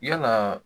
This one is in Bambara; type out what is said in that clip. Yalaa